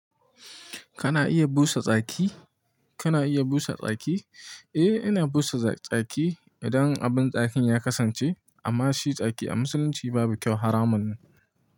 Kana iya busa tsaki? Kana iya busa tsaki? Eh, ina busa tsaki idan abin tsakin ya kasance. Amma shi tsaki a musulunci babu kyau haramun ne.